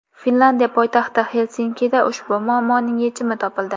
Finlyandiya poytaxti Xelsinkida ushbu muammoning yechimi topildi.